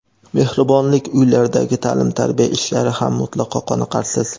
Mehribonlik uylaridagi ta’lim-tarbiya ishlari ham mutlaqo qoniqarsiz.